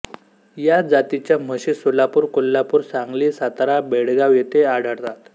या जातीच्या म्हशी सोलापूर कोल्हापूर सांगली सातारा बेळगाव येथे आढळतात